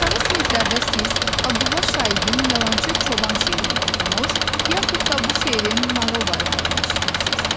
Aşağı siniflərdə siz Abdulla Şaiqin yalançı çoban şeirini oxumuş, yaxud da bu şeirin nağıl variantını eşitmisiz.